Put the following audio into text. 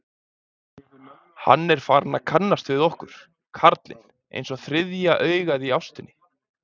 Hann er farinn að kannast við okkur, karlinn, einsog þriðja augað í ástinni.